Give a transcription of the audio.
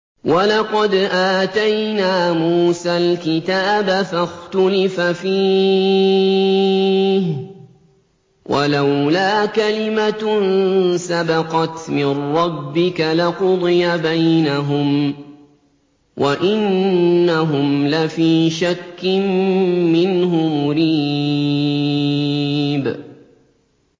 وَلَقَدْ آتَيْنَا مُوسَى الْكِتَابَ فَاخْتُلِفَ فِيهِ ۚ وَلَوْلَا كَلِمَةٌ سَبَقَتْ مِن رَّبِّكَ لَقُضِيَ بَيْنَهُمْ ۚ وَإِنَّهُمْ لَفِي شَكٍّ مِّنْهُ مُرِيبٍ